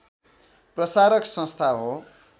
प्रसारक संस्था हो